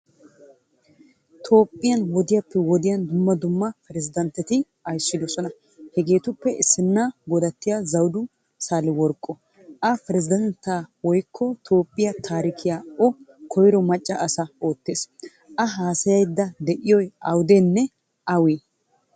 Toophphiyaa wodiyaappe wodiyaan dumma dumma piresdentetti ayssidosona. Hegettuppe issinna Godattiyo Zawdu Sahileworqqo. A presidentte kiyogee Toophphiyaa taarikiyan o koyro macca asa oottees. A haasayayida deiyoy awudeenne awaanee?